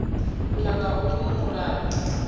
u ya nga uyu mulayo